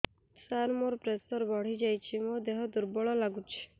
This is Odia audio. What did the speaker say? ସାର ମୋର ପ୍ରେସର ବଢ଼ିଯାଇଛି ମୋ ଦିହ ଦୁର୍ବଳ ଲାଗୁଚି